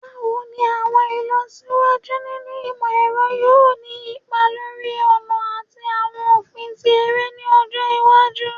Báwo ni àwọn ìlọsíwájú nínú ìmọ̀-ẹ̀rọ yóò ni ipa lórí ọ̀nà ati awọn ofin ti ere ni ọjọ iwaju?